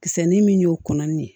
Kisɛ ni min y'o kɔnɔ ni ye